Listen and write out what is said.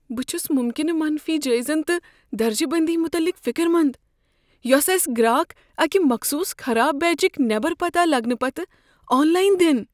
بہٕ چھس ممکنہٕ منفی جٲیزن تہٕ درجہ بندی مٗتعلق فِکر مند، یۄسہٕ اسہِ گراک اكہِ مخصوص خراب بیچكۍ نیبر پتاہ لگنہٕ پتہٕ آن لاین دِن۔